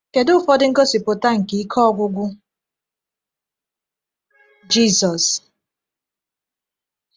Kedu ụfọdụ ngosipụta nke ike ọgwụgwọ Jisus?